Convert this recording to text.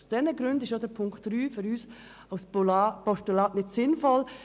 Aus diesen Gründen ist auch der Punkt 3 für uns als Postulat nicht sinnvoll.